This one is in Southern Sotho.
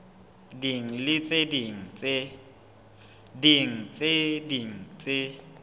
ding le tse ding tse